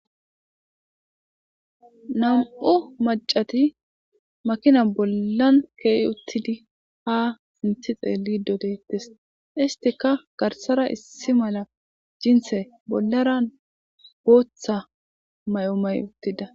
nam'u macati makina bollan keeyi uttidi ha sinthi xeelli dodettes istika garsara issi mala jinthe bollara booththa may7o may uttida